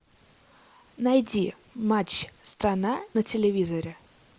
найди матч страна на телевизоре